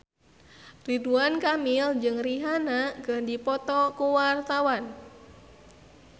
Ridwan Kamil jeung Rihanna keur dipoto ku wartawan